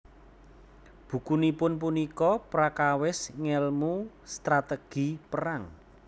Bukunipun punika prakawis ngèlmu strategi perang